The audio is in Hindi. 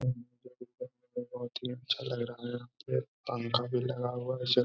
बहोत ही अच्छा लग रहा है यहाँ पे पंखा भी लगा हुआ है।